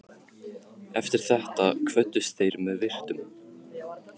Eftir þetta kvöddust þeir með virktum.